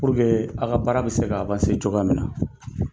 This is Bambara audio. A ka baara bɛ se ka cogoya min na.